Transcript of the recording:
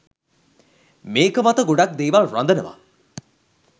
මේක මත ගොඩක් දේවල් රඳනවා.